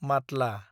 Matla